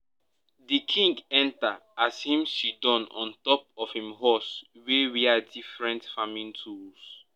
di king enter as him siddon on top him horse wey wear different farming tools